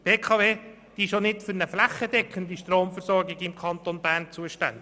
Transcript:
Die BKW ist auch nicht für eine flächendeckende Stromversorgung im Kanton Bern zuständig.